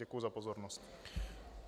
Děkuji za pozornost.